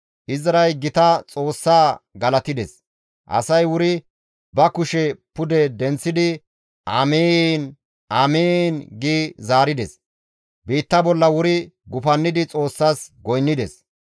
Izray Gita Xoossaa galatides; asay wuri ba kushe pude denththidi «Amiin! Amiin!» gi zaarides; biitta bolla wuri gufannidi Xoossas goynnides.